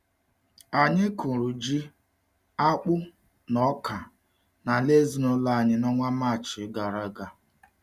Anyị kụrụ ji, akpụ na ọka n’ala ezinụlọ anyị n’ọnwa Maachị gara aga.